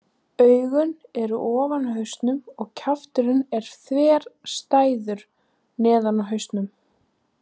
Augun eru ofan á hausnum og kjafturinn er þverstæður neðan á hausnum.